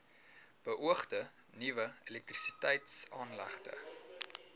beoogde nuwe elektrisiteitsaanlegte